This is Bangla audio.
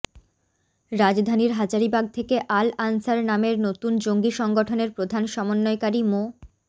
রাজধানীর হাজারীবাগ থেকে আল আনসার নামের নতুন জঙ্গি সংগঠনের প্রধান সমন্বয়কারী মো